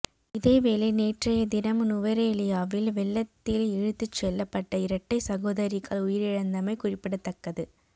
இதேவேளை நேற்றைய தினம் நுவரெலியாவில் வெள்ளத்தில் இழுத்துச் செல்லப்பட்ட இரட்டை சகோதரிகள் உயிரிழந்தமை குறிப்பிடத்தக்கது